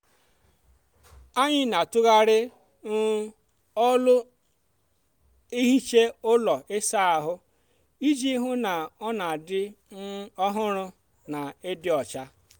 anyị n'atughari um ọlụ ehicha ụlọ ịsa ahụ iji hụ na ọ n'adị um ọhụrụ na ịdị ọcha.